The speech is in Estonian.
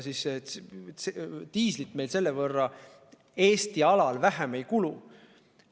Diislit meil selle võrra Eesti alal vähem ei kulu.